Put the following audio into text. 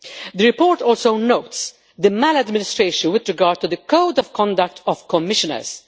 The report also notes maladministration with regard to the Code of Conduct of Commissioners.